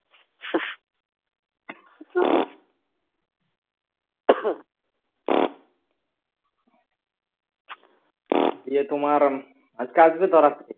দিয়ে তোমার আজকে আসবে তো রাত্রে